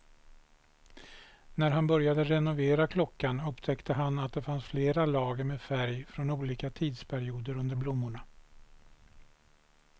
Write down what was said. När han började renovera klockan upptäckte han att det fanns flera lager med färg från olika tidsperioder under blommorna.